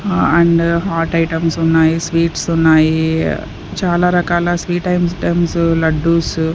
ఆ and hot items ఉన్నాయి sweets ఉన్నాయి చాలా రకాల స్వీట్ ఐటమ్స్ లడ్డూస్.